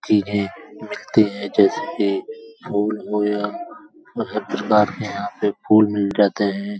चीजें मिलते है जैसे कि फूल हो या बहोत प्रकार के यहां फूल मिल जाते हैं।